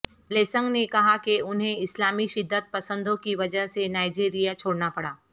blessing نے کہا کہ انھیں اسلامی شدت پسندوں کی وجہ سے نائجیریا چھوڑنا پڑا